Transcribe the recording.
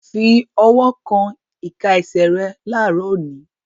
Fi ọwọ́ kan ìka ẹsẹ̀ rẹ láàárọ̀ òní!